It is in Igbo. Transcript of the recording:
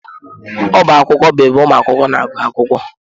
Ọbá akwụkwọ bụ ebe ụmụ akwụkwọ na-agụ akwụkwọ.